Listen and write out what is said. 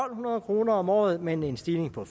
hundrede kroner om året men en stigning på